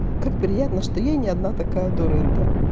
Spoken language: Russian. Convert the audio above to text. как приятно что я не одна такая дурында